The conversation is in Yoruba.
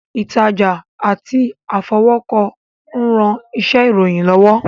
Ìtajà àti àfọwọ́kọ ń ran iṣẹ́ ìròyìn lọ́wọ́